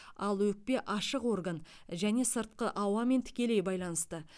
ал өкпе ашық орган және сыртқы ауамен тікелей байланысты